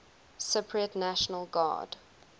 cypriot national guard